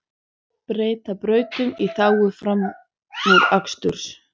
Breyta brautum í þágu framúraksturs